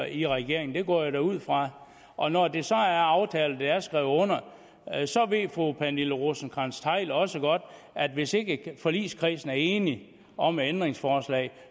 i regeringen det går jeg da ud fra og når det så er aftalt og det er skrevet under så ved fru pernille rosenkrantz theil også godt at hvis ikke forligskredsen er enig om et ændringsforslag